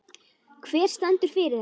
Hver stendur fyrir þessu?